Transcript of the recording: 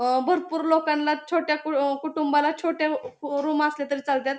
अं भरपूर लोकांला छोट्या कु कुटुंबाला छोट्या अ रूम असल्यातरी चालत्यात.